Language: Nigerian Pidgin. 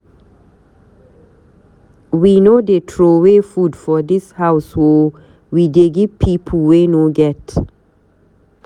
We no dey troway food for dis house o, we dey give pipu wey no get.